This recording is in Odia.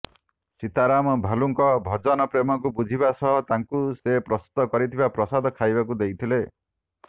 ସୀତାରାମ ଭାଲୁଙ୍କ ଭଜନ ପ୍ରେମକୁ ବୁଝିବା ସହ ତାଙ୍କୁ ସେ ପ୍ରସ୍ତୁତ କରିଥିବା ପ୍ରସାଦ ଖାଇବାକୁ ଦେଇଥିଲେ